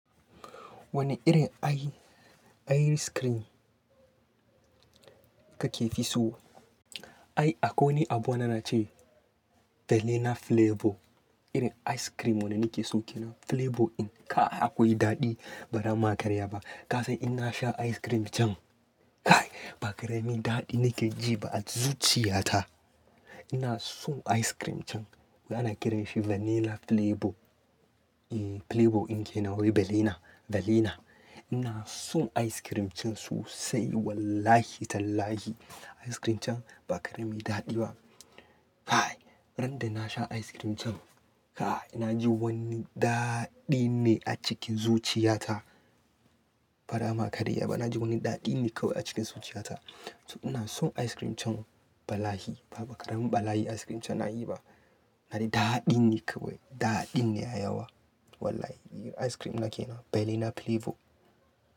Wane irin i ice cream kake fi so? Ai, akwai abu na na ce vanilla flavor. Irin ice cream wane nake so kenan flavor in. Kah akwai daɗi bara ma ƙarya ba. Kasan inna sha ice cream chan, kai ba karemi daɗi nake ji ba a zuciya ta. Ina son ice cream chan, ana kiran shi vanilla flavor eh Flavor in kenan wai vallina, vanilla. Ina son ice cream chan sosai wallahi tallahi. Ice cream can ba karemi daɗi ba. Kai, ran da nasha ice cream chan, kai naji wani daɗi ne a cikin zuciya ta. Bara ma ƙarya ba, naji wani daɗi ne kawai a cikin zuciya ta. To ina son ice cream chan balahi. Ba ƙaremin balahi ice cream chan nayi ba. Ar daɗin ne kawai, daɗin ne ya yawa. Wallahi ice cream na kenan vanilla flavor.